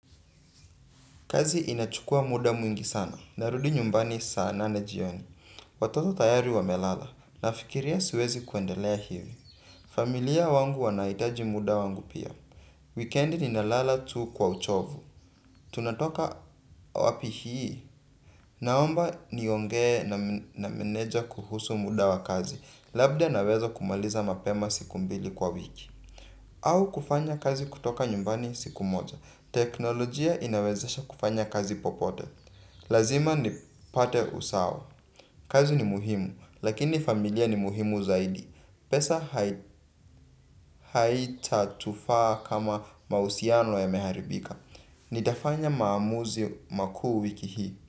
Kazi inachukua muda mwingi sana. Narudi nyumbani saa nena jioni. Watoto tayari wa melala. Nafikiria siwezi kuendelea hivi. Familia wangu wanaitaji muda wangu pia. Weekend ninalala tu kwa uchovu. Tunatoka wapi hii. Naomba nionge na meneja kuhusu muda wa kazi. Labda naweza kumaliza mapema siku mbili kwa wiki. Au kufanya kazi kutoka nyumbani siku moja. Teknolojia inawezesha kufanya kazi popote. Lazima nipate usawa. Kazi ni muhimu, lakini familia ni muhimu zaidi. Pesa haitatufaa kama mahusiano yameharibika. Nitafanya maamuzi makuu wiki hii.